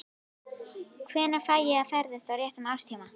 Hvenær fæ ég að ferðast á réttum árstíma?